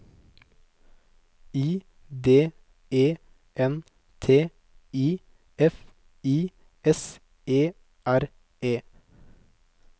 I D E N T I F I S E R E